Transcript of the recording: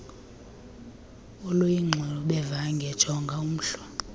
oluyingxubevange jonga umhl